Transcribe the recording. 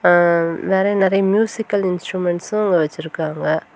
நறைய நறைய மியூசிக்கல் இன்ஸ்ட்ருமென்ஸ்ட்டும் வச்சிருக்காங்க.